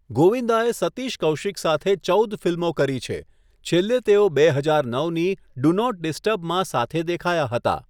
ગોવિંદાએ સતીશ કૌશિક સાથે ચૌદ ફિલ્મો કરી છે, છેલ્લે તેઓ બે હજાર નવની 'ડુ નોટ ડીસ્ટર્બ'માં સાથે દેખાયા હતા.